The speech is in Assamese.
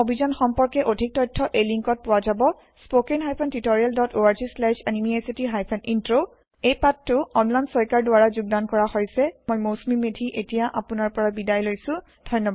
এই অভিযান সম্পৰ্কে অধিক তথ্য এই লিংকত পোৱা যাব spoken hyphen tutorial dot org slash এনএমইআইচিত হাইফেন ইন্ট্ৰ এই পাঠটো অম্লান শইকীয়াৰ দ্ৱাৰা যোগদন কৰা হৈছে মই মৌচুমি মেধী এতিয়া আপোনাৰ পৰা বিদায় লৈছো